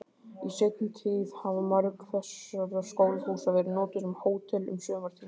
Í seinni tíð hafa mörg þessara skólahúsa verið notuð sem hótel um sumartímann.